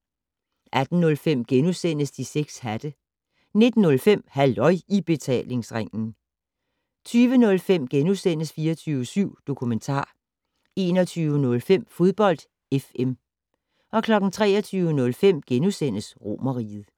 18:05: De 6 hatte * 19:05: Halløj I Betalingsringen 20:05: 24syv Dokumentar * 21:05: Fodbold FM 23:05: Romerriget *